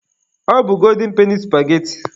Ọ bụ golden peni supageti.